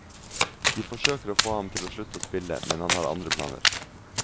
De forsøker å få ham til å slutte å spille, men han har andre planer.